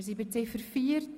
Wir sind bei der Ziffer 4.